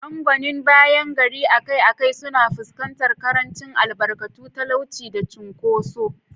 Angwanin bayan gari akai-akai suna fuskantar ƙarancin albarkatu, talauci, da cunkoso.